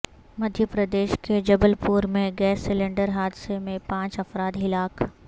مدھ پردیش کے جبل پور میں gas cylinder حادثے میں پانچ افراد ہلاک